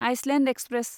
Iceland express